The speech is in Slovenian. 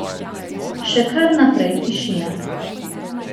Še kar naprej tišina.